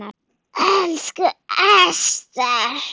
Elsku Ester.